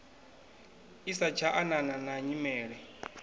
i satsha anana na nyimele